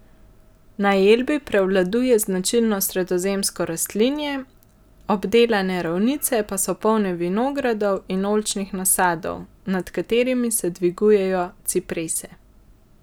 Na Elbi prevladuje značilno sredozemsko rastlinje, obdelane ravnice pa so polne vinogradov in oljčnih nasadov, nad katerimi se dvigujejo ciprese.